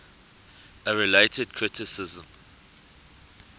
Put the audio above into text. a related criticism